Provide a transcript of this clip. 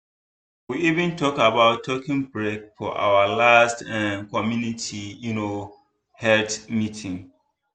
we even talk about taking break for our last um community um health meeting.